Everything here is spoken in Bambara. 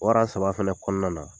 Wara saba fana kɔnɔna na